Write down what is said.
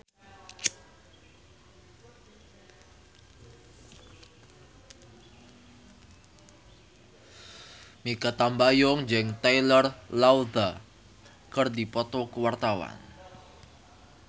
Mikha Tambayong jeung Taylor Lautner keur dipoto ku wartawan